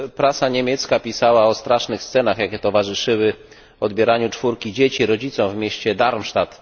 Prasa niemiecka pisała o strasznych scenach, jakie towarzyszyły odbieraniu czwórki dzieci rodzicom w mieście Darmstadt.